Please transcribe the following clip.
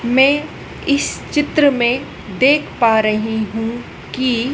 मैं इस चित्र में देख पा रही हूं कि--